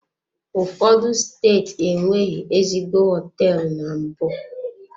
Ụfọdụ steeti enweghị ezigbo hoteelu na mbụ?